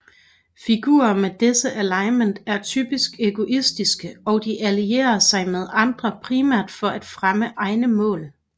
Figurer med dette alignment er typisk egoistiske og de allierer sig med andre primært for at fremme egne mål